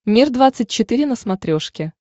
мир двадцать четыре на смотрешке